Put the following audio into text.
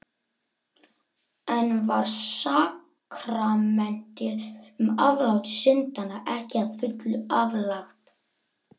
Enn var sakramentið um aflát syndanna ekki að fullu aflagt.